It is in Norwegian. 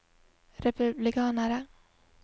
republikanere